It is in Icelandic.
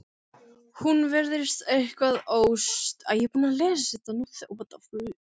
Hún virðist eitthvað óstyrk, gengur óvart með sígar